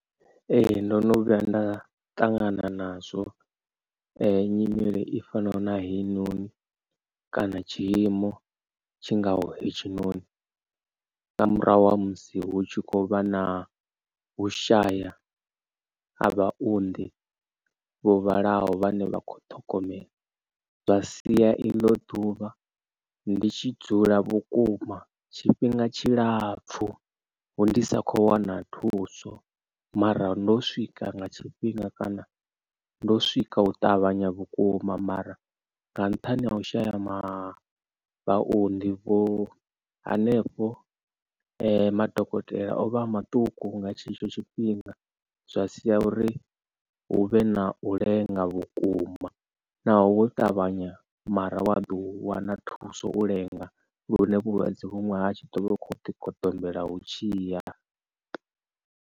Ee ndono vhuya nda ṱangana nazwo nyimele i fanaho na heinoni kana tshiimo tshingaho hetshinoni nga murahu ha musi hu tshi khou vha na u shaya ha vhaunḓi vho vhalaho vhane vha kho ṱhogomela. Zwa sia i ḽo ḓuvha ndi tshi dzula vhukuma tshifhinga tshilapfu ndi sa kho wana thuso mara ndo swika nga tshifhinga kana ndo swika u ṱavhanya vhukuma mara nga nṱhani ha u shaya ma vhaunḓi hanefho madokotela o vha a maṱuku nga tshetsho tshifhinga. Zwa sia uri hu vhe na u lenga vhukuma naho wo ṱavhanya mara wa ḓi wana thuso u lenga lune vhulwadze vhuṅwe ha tshi ḓovha hu kho ḓi goḓombela hu tshiya.